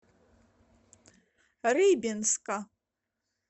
рыбинска